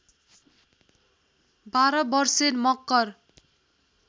१२ वर्षे मकर